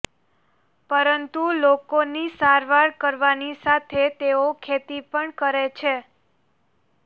પરંતુ લોકોની સારવાર કરવાની સાથે તેઓ ખેતી પણ કરે છે